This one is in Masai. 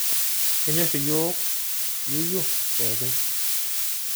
Kenyorr iyiiok yeyio pookin.